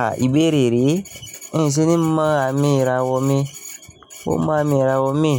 Ah ìbéèrè rẹ, n ṣe ni mo àmì ìràwọ̀ mi, mọ mo àmì ìràwọ̀ mi,